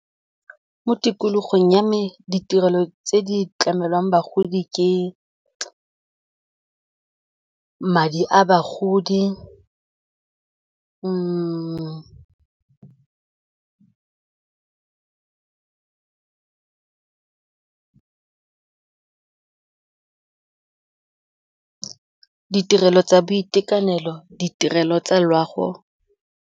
Mo tikologong ya me ditirelo tse di tlamelwang bagodi ke madi a bagodi ditirelo tsa boitekanelo, ditirelo tsa loago.